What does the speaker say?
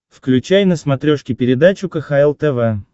включай на смотрешке передачу кхл тв